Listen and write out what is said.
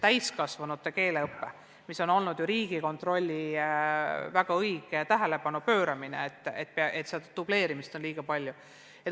Täiskasvanute keeleõppele on ka Riigikontroll väga õigesti tähelepanu pööranud, märkides, et dubleerimist on liiga palju.